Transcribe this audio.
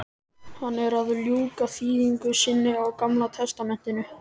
Hann er að ljúka þýðingu sinni á gamla testamentinu.